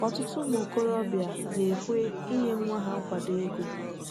Ọtụtụ ụmụ okorobịa na-ekwe inye nwa ha nkwado ego.